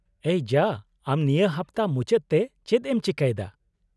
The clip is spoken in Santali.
-- ᱮᱭ ᱡᱟ , ᱟᱢ ᱱᱤᱭᱟᱹ ᱦᱟᱯᱚᱛᱟ ᱢᱩᱪᱟᱹᱫ ᱛᱮ ᱪᱮᱫ ᱮᱢ ᱪᱤᱠᱟᱹᱭ ᱫᱟ ?